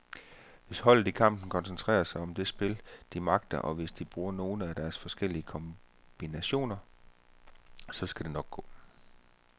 Hvis holdet i kampen koncentrerer sig om det spil, de magter, og hvis de bruger nogle af deres forskellige kombinationer, så skal det nok gå.